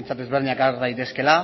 ezberdinak behintzat har daitezkeela